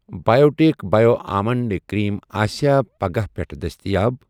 Biotic bio almond eye cream آسیٚا پگاہہٕ پٮ۪ٹھ دٔستِیاب؟